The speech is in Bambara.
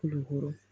Dugukolo